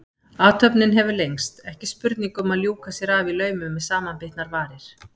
Athöfnin hefur lengst, ekki spurning um að ljúka sér af í laumi með samanbitnar varir.